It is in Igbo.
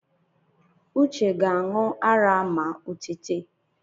Uche ga-aṇụ ara ma o tete